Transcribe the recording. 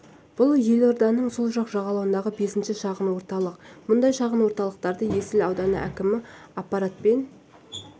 бұл елорданың сол жақ жағалауындағы бесінші шағын орталық мұндай шағын орталықтарды есіл ауданы әкімі аппараты мен